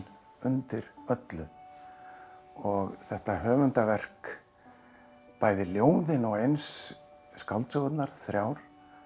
undir öllu og þetta höfundarverk bæði ljóðin og eins skáldsögurnar þrjár